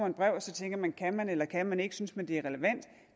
et brev og så tænker man kan man eller kan man ikke synes man at det er relevant